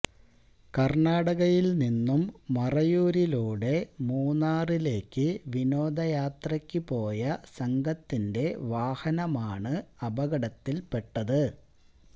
കര്ണാടകയില് നിന്നും മറയൂരിലൂടെ മൂന്നാറിലേക്ക് വിനോദയാത്രയ്ക്ക് പോയ സംഘത്തിന്റെ വാഹനമാണ് അപകടത്തില്പെട്ടത്